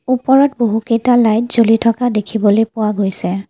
ওপৰত বহুকেইটা লাইট জ্বলি থকা দেখিবলৈ পোৱা গৈছে।